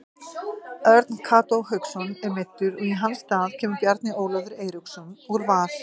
Örn Kató Hauksson er meiddur og í hans stað kemur Bjarni Ólafur Eiríksson úr Val.